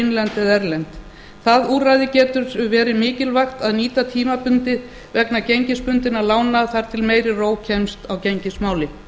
innlend eða erlend það úrræði getur verið mikilvægt að nýta tímabundið vegna gengisbundinna lána þar til meiri ró kemst á gengismálin